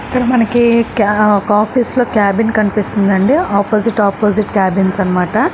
ఇక్కడ మనకి ఒక ఆఫీస్ లో క్యాబిన్ కనిపిస్తుంది అండీ ఆపోజిట్ ఆపోజిట్ కేబిన్స్ అనమాట.